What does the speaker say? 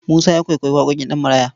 Musa ya kwaikwayi waƙoƙin Ɗanmaraya.